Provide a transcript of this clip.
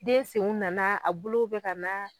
Den senw nana a bolow be ka na